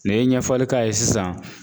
N'i ye ɲɛfɔli k'a ye sisan.